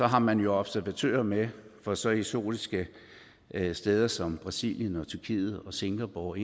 har man jo observatører med fra så eksotiske steder som brasilien tyrkiet singapore og